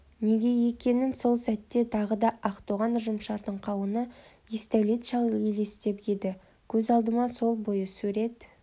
неге екенін сол сәтте тағы да ақтоған ұжымшардың қауыны есдәулет шал елестеп еді көз алдыма сол бойы сурет